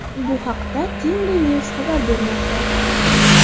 Bu haqda Tengri News xabar bermoqda .